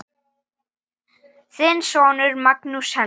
Þinn sonur, Magnús Helgi.